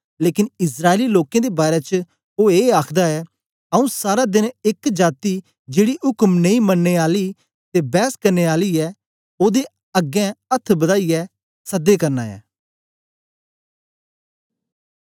लेकन इस्राएली लोकें दे बारै च ओ ए आखदा ऐ आऊँ सारा देन एक जाती जेड़ी उक्म नेई मनने आली ते बैस करने आली ऐ ओदे अगें अथ्थ बद्दाईयै सद्दै करना ऐं